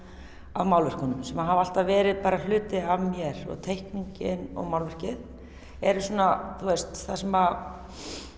að málverkunum sem hafa alltaf verið bara hluti af mér og teikningin og málverkið eru svona það sem